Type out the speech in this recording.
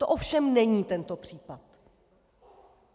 To ovšem není tento případ.